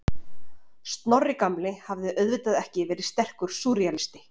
Snorri gamli hafði auðvitað ekki verið sterkur súrrealisti.